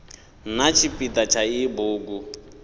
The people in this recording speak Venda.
na tshipida tsha iyi bugu